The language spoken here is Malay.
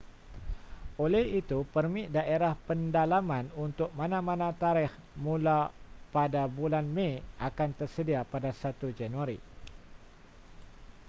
oleh itu permit daerah pendalaman untuk mana-mana tarikh mula pada bulan mei akan tersedia pada 1 januari